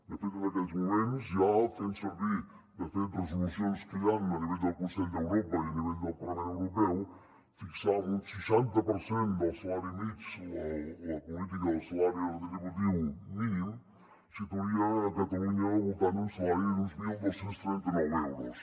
de fet en aquells moments ja fent servir resolucions que hi han a nivell del consell d’europa i a nivell del parlament europeu fixar en un seixanta per cent del salari mitjà la política del salari retributiu mínim situaria catalunya al voltant d’un salari d’uns dotze trenta nou euros